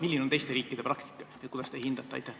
Milline on teiste riikide praktika, kuidas te seda hindate?